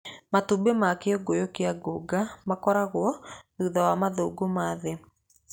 Matumbĩ ma kĩgunyũ kĩa ngũnga makoragwo thutha wa mathangũ ma thĩĩ.